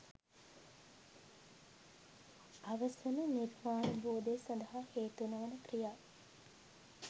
අවසන නිර්වාණාවබෝධය සඳහා හේතු නොවන ක්‍රියා